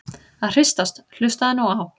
að hristast- hlustaðu nú á!